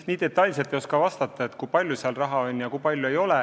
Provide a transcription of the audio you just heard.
Ma detailselt ei oska vastata, kui palju selleks raha on.